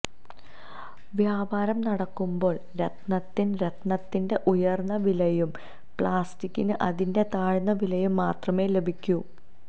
വ്യാപാരം നടക്കുമ്പോള് രത്നത്തിന് രത്നത്തിന്റെ ഉയര്ന്ന വിലയും പ്ലാസ്റ്റിക്കിന് അതിന്റെ താഴ്ന്ന വിലയും മാത്രമേ ലഭിക്കൂ